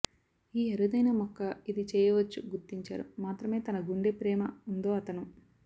ఈ అరుదైన మొక్క ఇది చెయ్యవచ్చు గుర్తించారు మాత్రమే తన గుండె ప్రేమ ఉందో అతను